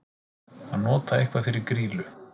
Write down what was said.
Að nota eitthvað fyrir grýlu